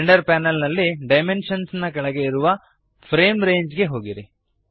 render panel ನಲ್ಲಿ dimensions ನ ಕೆಳಗೆ ಇರುವ ಫ್ರೇಮ್ ರಂಗೆ ಗೆ ಹೋಗಿರಿ